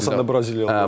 Əsasən də Braziliyalılar.